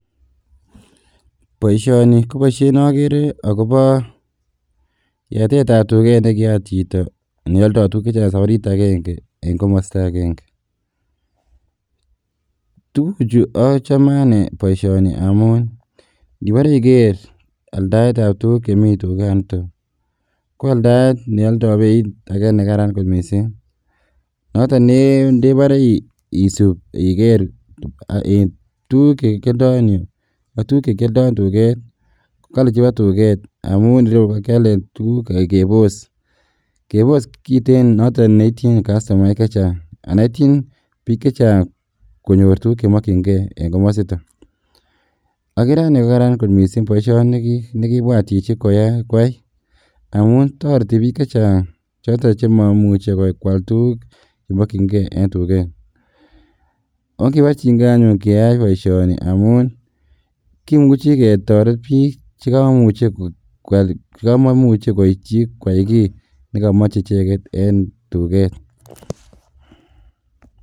Boisioni ko boisiet ne akere akobo yatetab duket ne kiyat chito ne aldoi tukuk che chang safarit akenge eng komosta akenge, tukuchu achame ane boisioni amun, ngibore iker aldaetab tukuk chemi dukanito ko aldaet ne aldai beit ake nekaran kot mising, noto ndebare isub iker tukuk che kyaldoi en yu, ak tukuk che kyaldoi en duket, ko kali chebo duket amun reu kakialen tukuk kebos, kebos kiten noton neityin kastomaek che chang anan ityin piik che chang konyor tukuk che mokchinkei en komosita, akere ane kokaran kot mising boisioni nikibwat chichi kwai amun toreti piik che chang choto chemamuchi kwal tukuk chemokchinkei en duket, Ongebarchinkei anyun keyai boisioni amun, kimuchi ketoret piik che kamamuche koityi kwal kiy ne kamache cheket en duket.